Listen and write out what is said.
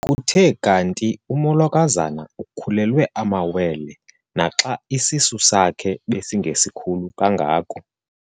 Kuthe kanti umolokazana ukhulelwe amawele naxa isisu sakhe besingesikhulu kangako.